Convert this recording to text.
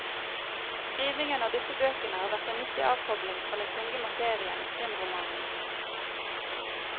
Skrivingen av disse bøkene har vært en nyttig avkobling fra den tunge materien i krimromanen.